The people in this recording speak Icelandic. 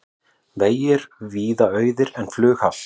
Vegir víða auðir en flughált